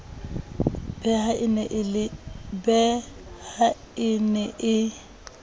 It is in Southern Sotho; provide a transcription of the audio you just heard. be ha e ne e